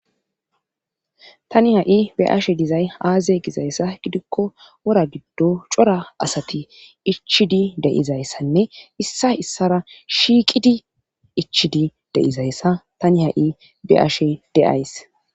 tani ha7i be ashe dizay aaze gizayssa gidikko wora giddo cora asati ichidi deizayssanne issa issara shiqidi ichidi deizayssa tani ha7i be ashe deays